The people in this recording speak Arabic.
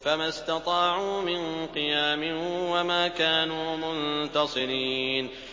فَمَا اسْتَطَاعُوا مِن قِيَامٍ وَمَا كَانُوا مُنتَصِرِينَ